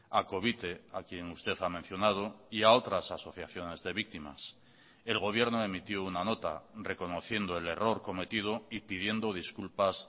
a covite a quien usted ha mencionado y a otras asociaciones de víctimas el gobierno emitió una nota reconociendo el error cometido y pidiendo disculpas